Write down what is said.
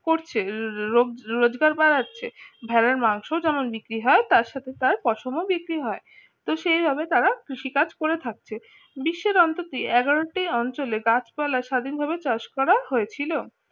করছে রোজগার বাড়াচ্ছে আহ ভেড়ার মাংসও যেমন বিক্রি হয় তার সাথে তার পশম ও বিক্রি হয় তো সেই ভাবে তারা কৃষিকাজ করে থাকছে বিশ্বের অন্তত এগরো টি অঞ্চলে গাছপালা স্বাধীনভাবে চাষ করা হয়েছিল